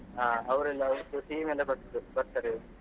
ಹಾ ಅವ್ರೆಲ್ಲ ಅವ್ರದ್ದು team ಎಲ್ಲ ಬರ್ತ್~ ಬರ್ತಾರೆ.